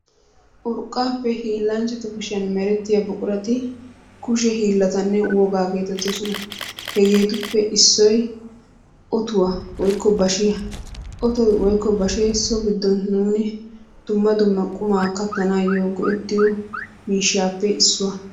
Urqaappe hiillanchchatu kushiyan merettiya buqurati kushe hiilatanne wogaa geetetoosona. Hegeetuppe issoy ottuwa woykko bashiya, ottoy woykko bashee so giddon nuuni dumma dumma qumaa katanaayo go'ettiyo miishshaappe issuwa.